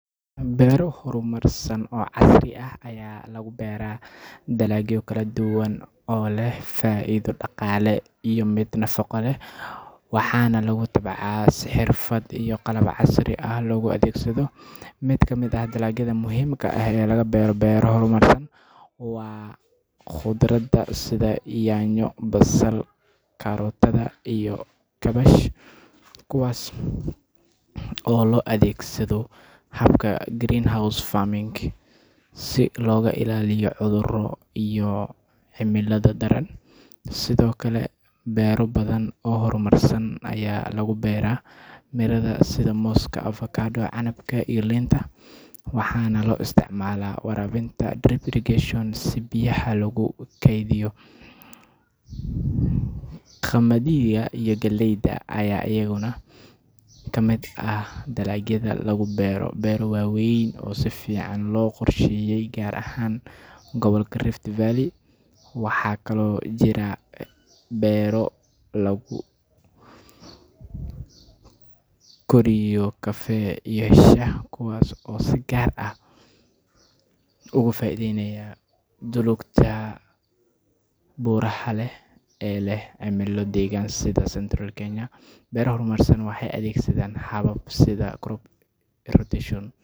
Beero horumarsan oo casri ah ayaa lagu beeraa dalagyo kala duwan oo leh faa’iido dhaqaale iyo mid nafaqo leh, waxaana lagu tabcaa si xirfad iyo qalab casri ah loo adeegsado. Mid ka mid ah dalagyada muhiimka ah ee laga beero beero horumarsan waa khudaarta sida yaanyo, basal, karootada, iyo kaabash, kuwaas oo loo adeegsado habka greenhouse farming si looga ilaaliyo cudurro iyo cimilada daran. Sidoo kale, beero badan oo horumarsan ayaa lagu beeraa miraha sida mooska, avokado, canabka, iyo liinta, waxaana loo isticmaalaa waraabinta drip irrigation si biyaha loogu kaydiyo. Qamadiga iyo galleyda ayaa iyaguna ka mid ah dalagyada lagu beero beero waaweyn oo si fiican loo qorsheeyay gaar ahaan gobolka Rift Valley. Waxaa kaloo jira beero lagu koriyo kafee iyo shaah, kuwaas oo si gaar ah uga faa’iidaysta dhulalka buuraha leh ee leh cimilo deggan sida Central Kenya. Beero horumarsan waxay adeegsadaan habab sida crop rotation.